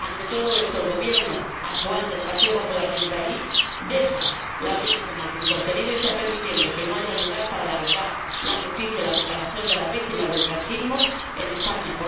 Ante todo esto, el Gobierno actual del Partido Popular de mi país deja la ley nacional sin contenido y está permitiendo que no haya lugar para la verdad, la justicia y la reparación de las víctimas del franquismo en España.